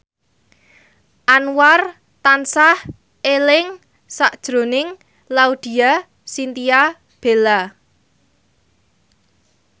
Anwar tansah eling sakjroning Laudya Chintya Bella